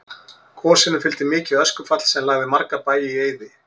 Gosinu fylgdi mikið öskufall sem lagði marga bæi í eyði.